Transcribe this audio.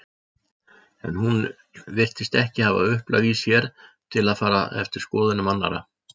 En hún virtist ekki hafa upplag í sér til að fara eftir skoðunum annarra.